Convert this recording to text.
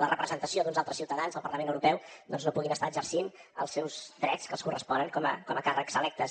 la representació d’uns altres ciutadans al parlament europeu doncs no puguin estar exercint els seus drets que els corresponen com a càrrec electes